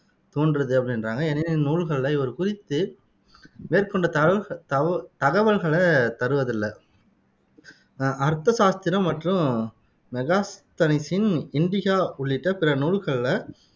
தோன்றுது அப்படின்றாங்க எனினும், இந்நூல்களில இவர் குறித்து மேற்கொண்ட தகவ் தகவ தகவல்களைத் தருவதில்லை ஆஹ் அர்த்தசாஸ்திரம் மற்றும் மெகஸ்தனிசின் இண்டிகா உள்ளிட்ட பிற நூல்களில